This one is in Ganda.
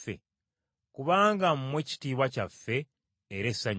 Kubanga mmwe kitiibwa kyaffe era essanyu lyaffe.